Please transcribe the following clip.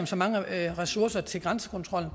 så mange ressourcer til grænsekontrollen